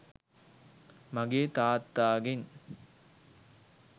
මගේ තාත්තාගෙන්.